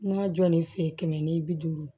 N ma jɔ ni feere kɛmɛ ni bi duuru